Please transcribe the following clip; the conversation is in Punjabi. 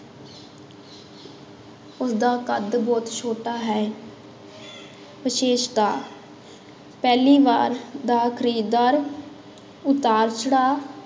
ਉਸਦਾ ਕੱਦ ਬਹੁਤ ਛੋਟਾ ਹੈ ਵਿਸ਼ੇਸ਼ਤਾ ਪਹਿਲੀ ਵਾਰ ਦਾ ਖ਼ਰੀਦਦਾਰ ਉਤਾਰ ਚੜ੍ਹਾਅ,